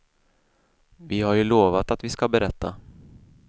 Vi har ju lovat att vi ska berätta.